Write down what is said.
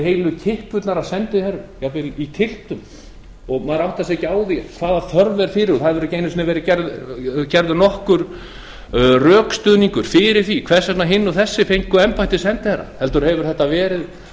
heilu kippurnar af sendiherrum tylftir hafa komið og maður áttar sig ekki á þörfinni það hefur ekki verið gefinn nokkur rökstuðningur fyrir því hvers vegna hinir og þessir fengu embætti sendiherra heldur hafa þetta verið